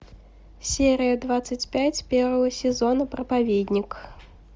серия двадцать пять первого сезона проповедник